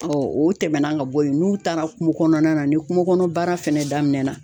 o tɛmɛnan ka bɔ yen, n'u taara kungo kɔnɔna na, ni kungo kɔnɔ baara fɛnɛ daminɛna